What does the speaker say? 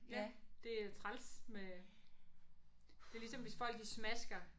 Ja det er træls med det er ligesom hvis folk de smasker